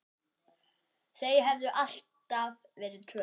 Þau höfðu alltaf verið tvö.